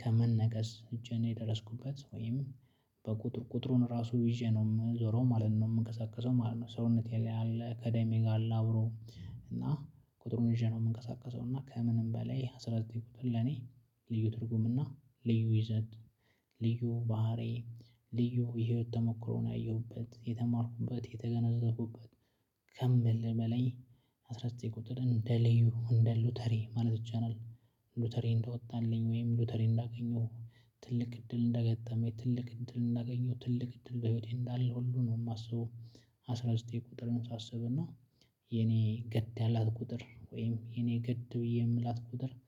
ከመነቀስ እጄን የደረስኩበት ወይም በቁጥር ቁጥሩን ራሱ ይዤ ነው የምዞረው ማለት ነው የምንቀሳቀሰው ማለት ነው። ሰውነቴ ላይ ያለ ከደሜ ጋር አለ አብሮ እና ቁጥሩን ይዤ ነው የምንቀሳቀሰው እና ከምንም በላይ አስራ ዘጠኝ ቁጥር ለኔ ልዩ ትርጉምና ልዩ ይዘት ልዩ ባህሪ ልዩ የህይወት ተሞክሮ ነው ያየሁበት የተማርኩበት የተገነዘብኩበት ከምሊ በላይ አስራ ዘጠኝ ቁጥርን እንደ እንደ ሎተሪ ማለት ቻናል ሎተሪ እንደወጣልኝ ወይም ሎተሪ እንዳገኘሁ ትልቅ እድል እንደገጠመኝ ትልቅ እድል እንዳገኘሁ ትልቅ እድል በህይወቴ እንዳለ ሁሉ ነው የማስበው አስራ ዘጠኝ ቁጥርን ሳስብና የኔ ግድ ያላት ቁጥር ወይም የኔ ግድ ብዬ የምላት ቁጥር